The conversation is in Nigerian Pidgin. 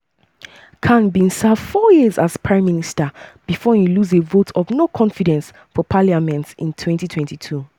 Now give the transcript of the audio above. khan bin serve four years as prime minister before e lose a vote of no-confidence for parliament in 2022.